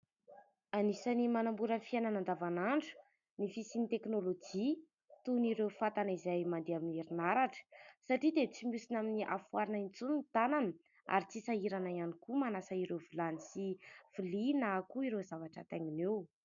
Anisan'ny manamora ny fiainana andavan'andro ny fisian'ny teknolojia toa an'ireo fatana izay mandeha amin'ny herinaratra : satria dia tsy mihosina amin'ny afo arina intsony ny tanana ary tsy ho sahirana ihany koa manasa ireo vilany sy vilia, na koa ireo zavatra ataingina eo.